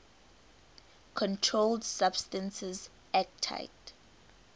controlled substances acte